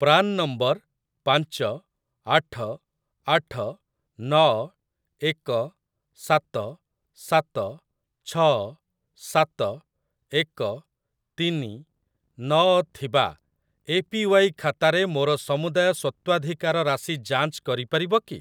PRAN number ପାଞ୍ଚ ଆଠ ଆଠ ନଅ ଏକ ସାତ ସାତ ଛଅ ସାତ ଏକ ତିନି ନଅ ଥିବା ଏପିୱାଇ ଖାତାରେ ମୋର ସମୁଦାୟ ସ୍ୱତ୍ୱାଧିକାର ରାଶି ଯାଞ୍ଚ କରିପାରିବ କି?